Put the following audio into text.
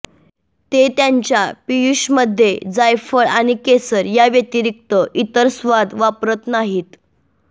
ते त्यांच्या पियुषमध्ये जायफळ आणि केशर या व्यतिरिक्त इतर स्वाद वापरत नाहीत